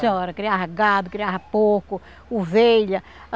Senhora, criava gado, criava porco, ovelha.